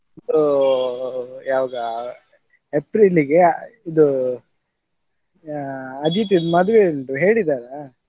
ಯಾವಾಗ ಏಪ್ರಿಲಿಗೆ ಇದು ಅದಿತಿದ್ದು ಮದುವೆ ಉಂಟು ಹೇಳಿದಾರಾ?